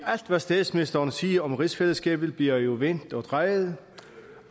alt hvad statsministeren siger om rigsfællesskabet bliver jo vendt og drejet